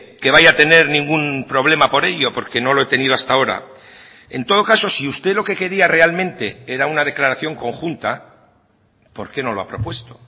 que vaya a tener ningún problema por ello porque no lo he tenido hasta ahora en todo caso si usted lo que quería realmente era una declaración conjunta por qué no lo ha propuesto